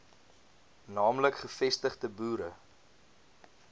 naamlik gevestigde boere